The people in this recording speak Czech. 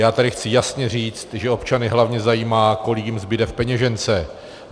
Já tady chci jasně říct, že občany hlavně zajímá, kolik jim zbude v peněžence.